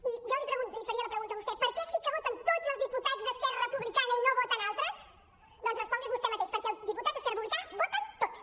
i jo li faria la pregunta a vostè per què sí que voten tots els diputats d’esquerra republicana i no voten altres doncs respongui’s vostè mateix perquè els diputats d’esquerra republicana voten tots